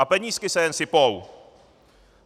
A penízky se jen sypou.